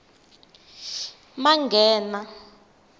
manghena